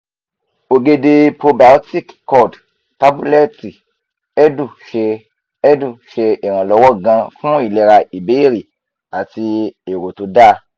ogede probiotic curd tabuleti edu se edu se iranlowo gan fun ilera ibeere ati ero to da